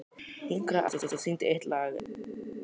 Hinkraðu aðeins og syngdu eitt lag enn.